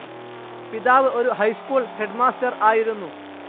പിതാവ് ഒരു high school headmaster ആയിരുന്നു.